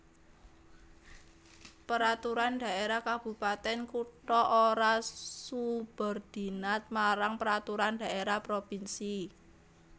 Peraturan Dhaérah Kabupatèn Kutha ora subordinat marang Peraturan Dhaérah Provinsi